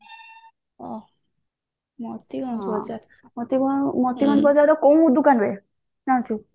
ଅ ମତିଭଞ୍ଜ ବଜାର ମତିଭଞ୍ଜ ବଜାର ର କୋଉ ଦୋକାନ ରେ ଜାଣିଛୁ